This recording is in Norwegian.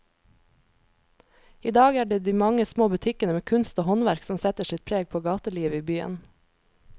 I dag er det de mange små butikkene med kunst og håndverk som setter sitt preg på gatelivet i byen.